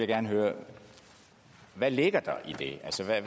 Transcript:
gerne høre hvad ligger der i det altså hvad